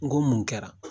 N ko mun kɛra